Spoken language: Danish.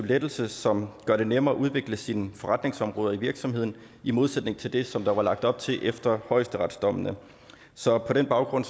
lettelse som gør det nemmere at udvikle sine forretningsområder i virksomheden i modsætning til det som der var lagt op til efter højesteretsdommene så på den baggrund